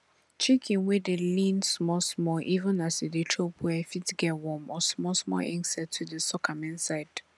chicken wey dey lean small small even as e dey chop well fit get worm or small small insect wey dey suck am inside